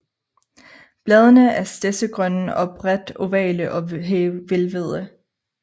Bladene er stedsegrønne og bredt ovale og hvælvede